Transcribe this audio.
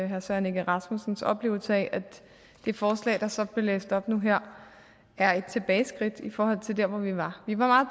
herre søren egge rasmussens oplevelse af at det forslag der så blev læst op nu her er et tilbageskridt i forhold til der hvor vi var vi var